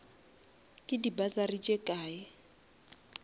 ke di bursary tše kae